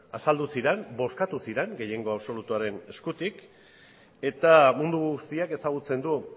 azaldu diren bozkatu ziran gehiengo absolutuaren eskutik eta mundu guztiak ezagutzen du